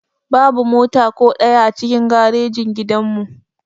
Babu mota ko ɗaya a cikin garejin gidan mu